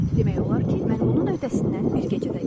Demək olar ki, mən bunun öhdəsindən bir gecədə gəldim.